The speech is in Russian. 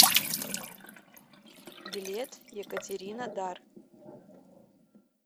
билет екатеринодар